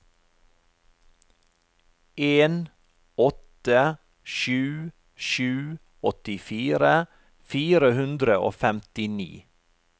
en åtte sju sju åttifire fire hundre og femtini